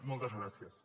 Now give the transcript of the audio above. moltes gràcies